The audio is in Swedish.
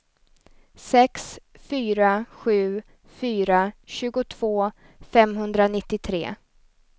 sex fyra sju fyra tjugotvå femhundranittiotre